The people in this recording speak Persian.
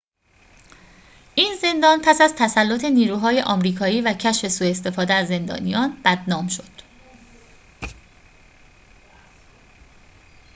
این زندان پس از تسلط نیروهای آمریکایی و کشف سوء استفاده از زندانیان بدنام شد